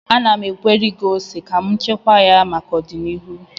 Ana m egweri ose ka m chekwaa ya maka ọdịnihu